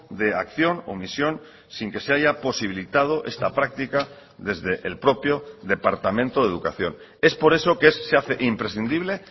de acción omisión sin que se haya posibilitado esta práctica desde el propio departamento de educación es por eso que se hace imprescindible